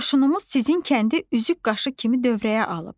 Qoşunumuz sizin kəndi üzük qaşı kimi dövrəyə alıb.